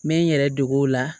N bɛ n yɛrɛ deg'o la